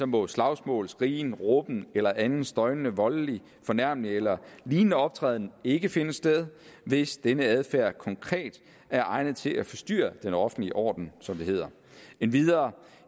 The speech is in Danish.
må slagsmål skrigen råben eller anden støjende voldelig fornærmelig eller lignende optræden ikke finde sted hvis denne adfærd konkret er egnet til at forstyrre den offentlige orden som det hedder endvidere